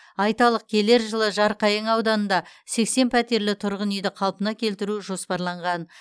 айталық келер жылы жарқайың ауданында сексен пәтерлі тұрғын үйді қалпына келтіру жоспарланған